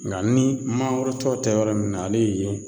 Nka ni mangoro tɔw tɛ yɔrɔ min na ale ye